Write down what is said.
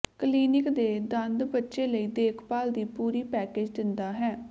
clinic ਦੇ ਦੰਦ ਬੱਚੇ ਲਈ ਦੇਖਭਾਲ ਦੀ ਪੂਰੀ ਪੈਕੇਜ ਦਿੰਦਾ ਹੈ